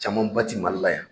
Camanba ti Mali la yan